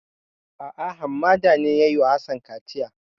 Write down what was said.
A'a Hammada ne ya yi wa Hassan kaciya.